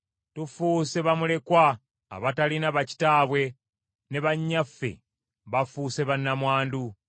Tufuuse bamulekwa abatalina bakitaabwe, ne bannyaffe bafuuse bannamwandu.